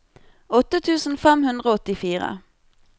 åtte tusen fem hundre og åttifire